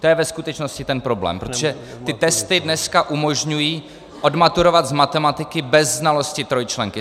To je ve skutečnosti ten problém, protože ty testy dneska umožňují odmaturovat z matematiky bez znalosti trojčlenky.